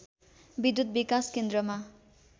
विद्युत् विकास केन्द्रमा